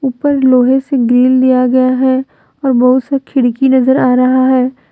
ऊपर लोहे से गेल दिया गया है और बहुत सा खिड़की नजर आ रहा है।